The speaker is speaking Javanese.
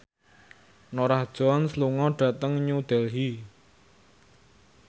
Norah Jones lunga dhateng New Delhi